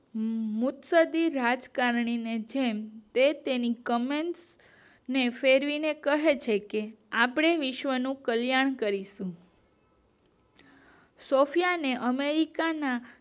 મ્યૂકસકી રાજકારણી ની તેની comments ફેરવીને કહે છે કે આપણે વિશ્વ નું કલ્યાણ કરીશુ સૉફયાને અમેરિકાના